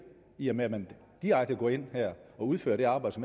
i og med at man direkte går ind og udfører det arbejde